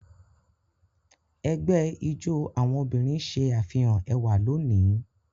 Ẹgbẹ́ ijó àwọn obìnrin ṣe àfihàn ẹwà lónìí